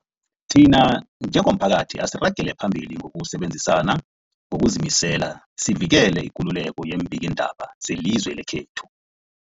Thina njengomphakathi, asiragele phambili ngokusebenzisana ngokuzimisela sivikele ikululeko yeembikiindaba zelizwe lekhethu.